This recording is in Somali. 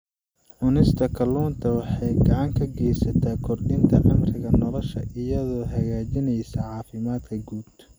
Cunista kalluunka waxay gacan ka geysataa kordhinta cimriga nolosha iyadoo hagaajinaysa caafimaadka guud.